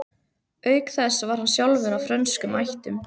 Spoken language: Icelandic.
Auk þess var hann sjálfur af frönskum ættum.